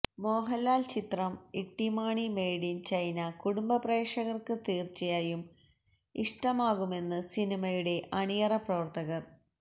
മോഹന്ലാല് ചിത്രം Ittymaani made in China കുടുംബപ്രേക്ഷകര്ക്ക് തീര്ച്ചയായും ഇഷ്ടമാകുമെന്ന് സിനിമയുടെ അണിയറപ്രവര്ത്തകര്